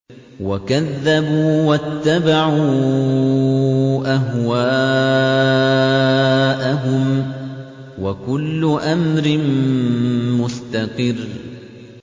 وَكَذَّبُوا وَاتَّبَعُوا أَهْوَاءَهُمْ ۚ وَكُلُّ أَمْرٍ مُّسْتَقِرٌّ